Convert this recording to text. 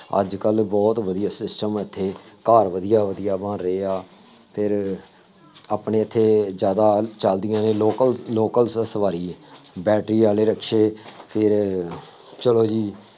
ਅੱਜ ਕੱਲ੍ਹ ਬਹੁਤ ਵਧੀਆ system ਇੱਥੇ, ਘਰ ਵਧੀਆ ਵਧੀਆ ਬਣ ਰਹੇ ਆ, ਫੇਰ ਆਪਣੇ ਇੱਥੇ ਜ਼ਿਆਦਾ ਚੱਲਦੀਆਂ ਦੇ local local ਸਵਾਰੀ ਹੈ, ਬੈਟਰੀ ਵਾਲੇ ਰਿਕਸ਼ੇ, ਫੇਰ ਚੱਲ ਜੀ,